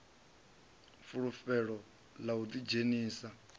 fulufhelo ḽa u ḓi dzhenisa